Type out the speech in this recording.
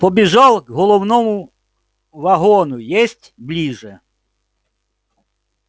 побежал к головному вагону есть ближе